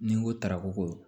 Ni n ko tarako